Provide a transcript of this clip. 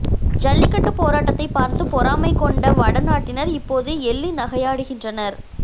ஜல்லிக்கட்டு போராட்டத்தைப் பார்த்து பொறாமை கொண்ட வடநாட்டினர் இப்போது எள்ளி நகையாடுகின்றனர்